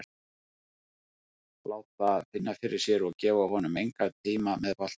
Láta finna fyrir sér og gefa honum engan tíma með boltann.